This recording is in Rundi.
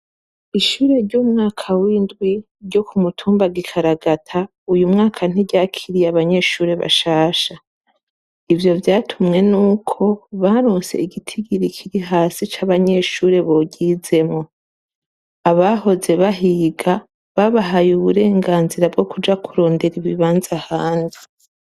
Ishure ryo mu mwaka w'indwi ryo ku mutumba Gikaragata uyu mwaka ntiryakiriye abanyeshure bashasha, ivyo vyatumwe nuko baronse igitigiri kiri hasi c'abanyeshure boryizemwo, abahoze bahiga babahaye uburenganzira bwo kuja kurondera ibibanza ahandi.